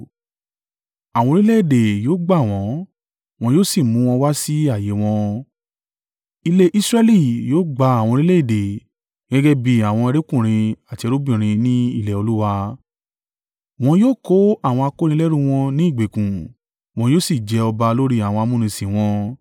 Àwọn orílẹ̀-èdè yóò gbà wọ́n wọn yóò sì mú wọn wá sí ààyè e wọn. Ilé Israẹli yóò gba àwọn orílẹ̀-èdè gẹ́gẹ́ bí àwọn ẹrúkùnrin àti ẹrúbìnrin ní ilẹ̀ Olúwa. Wọn yóò kó àwọn akónilẹ́rú wọn ní ìgbèkùn wọn yóò sì jẹ ọba lórí àwọn amúnisìn wọn.